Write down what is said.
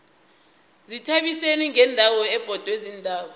izithabiseni yindawo ebhodwe ziintaba